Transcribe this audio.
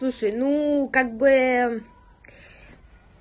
слушай ну как бы